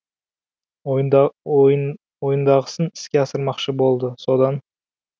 ойындағысын іске асырмақшы болды содан